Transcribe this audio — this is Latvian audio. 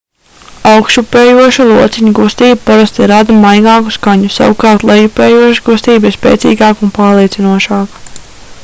augšupejoša lociņa kustība parasti rada maigāku skaņu savukārt lejupejoša kustība ir spēcīgāka un pārliecinošāka